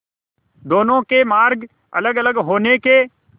दोनों के मार्ग अलगअलग होने के